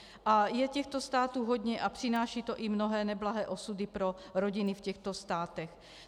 A je těchto států hodně a přináší to i mnohé neblahé osudy pro rodiny v těchto státech.